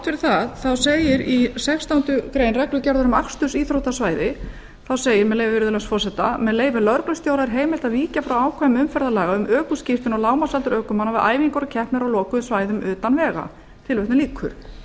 fyrir það segir í sextándu grein reglugerðar um akstursíþróttavæði með leyfi virðulegs forseta með leyfi lögreglustjóra er heimilt að víkja frá ákvæðum umferðarlaga um ökuskírteini og lágmarksaldur ökumanna við æfingar og keppnir á lokuðum svæðum